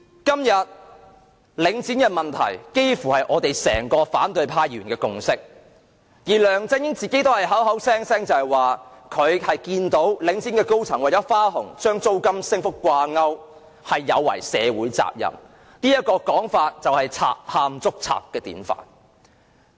今天，領展的問題幾乎是反對派議員的整體共識，而梁振英亦口口聲聲指領展高層的花紅與租金升幅掛鈎是有違社會責任——這種說法便是賊喊捉賊的典範。